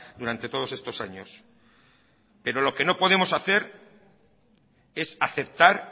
durante todos estos años pero lo que no podemos hacer es aceptar